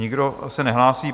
Nikdo se nehlásí.